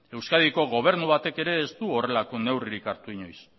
euskadiko gobernu batek ere ez du horrelako neurririk hartu inoiz